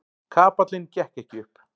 Kapallinn gekk ekki upp.